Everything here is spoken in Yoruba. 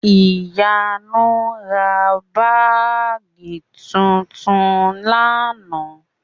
Ìyanu ra báàgì tuntun ní àná